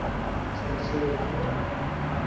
Shamsher Singh